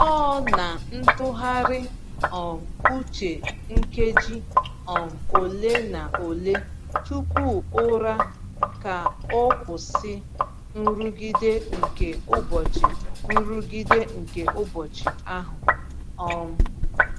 Ọ na-ntụgharị um uche nkeji um ole na ole tupu ụra ka o kwụsị nrụgide nke ụbọchị nrụgide nke ụbọchị ahụ. um